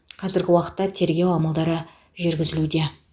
қазіргі уақытта тергеу амалдары жүргізілуде